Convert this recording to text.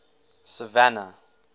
savannah